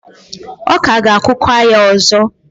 ọ ka ga-akụkwa ya ọzọ.